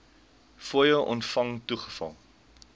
fooie ontvang toegeval